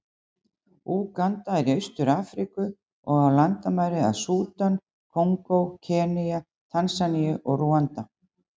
Úganda er í Austur-Afríku, og á landamæri að Súdan, Kongó, Kenía, Tansaníu og Rúanda.